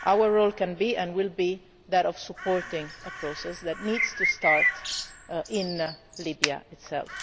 Our role can and will be that of supporting a process that needs to start in Libya itself.